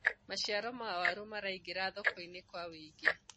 maciaro ma waru maraingira thoko-inĩ kwa wũingi